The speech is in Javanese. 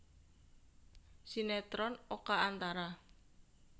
Sinetron Oka Antara